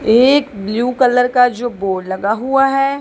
एक blue colour का जो बोर्ड लगा हुआ है।